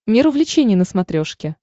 мир увлечений на смотрешке